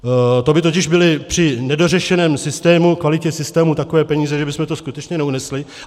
To by totiž byly při nedořešeném systému, kvalitě systému, takové peníze, že bychom to skutečně neunesli.